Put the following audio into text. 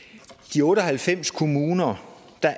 de otte og halvfems kommuner